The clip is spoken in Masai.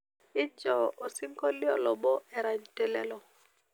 injoo osinkolio lobo erany te lelo